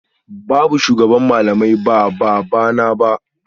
Babu shugaban malamai ba babana ba